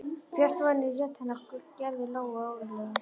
Björt vonin í rödd hennar gerði Lóu órólega.